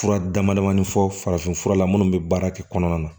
Fura damadamani fɔ farafin fura la minnu bɛ baara kɛ kɔnɔna na